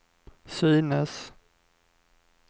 synes